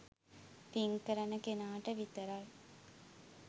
පින් කරන කෙනාට විතරයි.